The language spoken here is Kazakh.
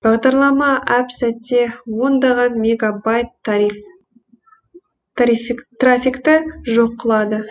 бағдарлама әп сәтте ондаған мегабайт трафикті жоқ қылады